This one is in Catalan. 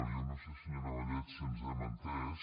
jo no sé senyora vallet si ens hem entès